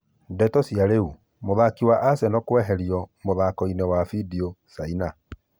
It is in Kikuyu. Ndeto cia Riu: Mũthaki wa Aseno kweherio mũthakoinĩ wa bindio Caina.